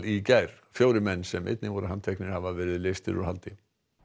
í gær fjórir menn sem einnig voru handteknir hafa verið leystir úr haldi